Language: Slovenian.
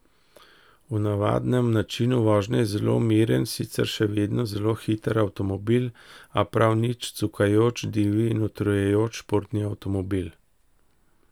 V navadnem načinu vožnje je zelo miren, sicer še vedno zelo hiter avtomobil, a prav nič cukajoč, divji in utrujajoč športni avtomobil.